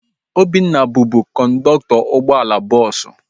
Obinna bubu kọndọktọ ụgbọala bọọsu